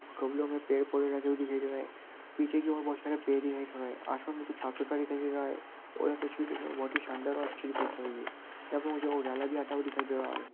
गमलों मे पेड़- पौधे लगे हुए दिख दे रहे है पीछे की और बहोत सारे पेड़ दिखाई दे रहे है आसमान बिल्कुल साफ सुथरा दिखाई दे रहा है यहाँ पे मुझे उजाला भी आता हुआ दिखाई दे रहा है।